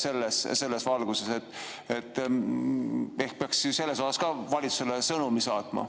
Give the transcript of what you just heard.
selles valguses vaatame, ehk peaks sellel teemal ka valitsusele sõnumi saatma.